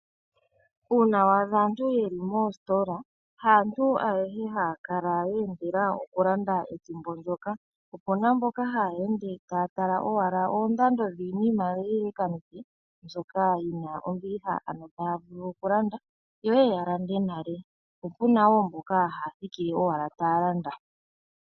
Uuna wa adha aantu yeli moositola ,haantu ayehe haya kala yeendela okulanda ethimbo ndjoka. Opuna mboka haya ende taya tala owala oondando dhiinima mbyoka yina ombiliha ,mbyoka taya vulu okulanda yo yeye yalande nale, po opuna mboka haya thikile owala taya landa.